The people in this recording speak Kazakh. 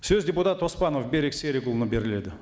сөз депутат оспанов берік серікұлына беріледі